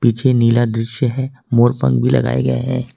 पीछे नील दृश्य है मोर पंख भी लगाये गये है।